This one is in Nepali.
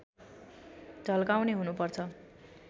झल्काउने हुनुपर्छ